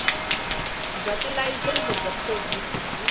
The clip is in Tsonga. bya tilayisense bya provhinsi byi